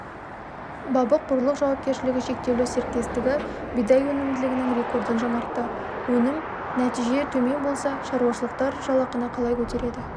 бабық-бұрлық жауапкершілігі шектеулі серіктестігі бидай өнімділігінің рекордын жаңартты өнім нәтиже төмен болса шаруашылықтар жалақыны қалай көтереді